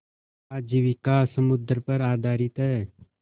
आजीविका समुद्र पर आधारित है